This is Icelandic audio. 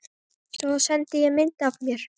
Svo sendi ég mynd af mér.